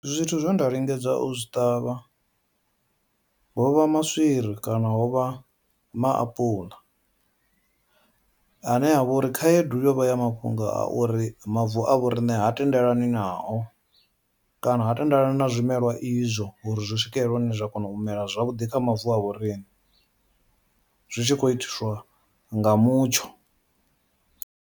Zwithu zwe nda lingedza u zwi ṱavha hovha maswiri kana hovha maapuḽa, ane a vha uri khaedu yo vha ya mafhungo a uri mavu a vho riṋe ha tendelani nao kana ha tendelani na zwimelwa izwo uri zwi swikelela hune zwa kona u mela zwavhuḓi kha mavu a vhoriṋe zwi tshi khou itiswa nga mutsho.